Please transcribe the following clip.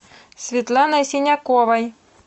светланой синяковой